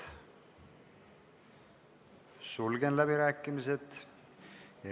Sulgen läbirääkimised.